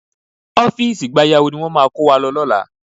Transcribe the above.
Ọ́fíìsì gbayawu ni wọ́n máa kó wa lọ lọ́la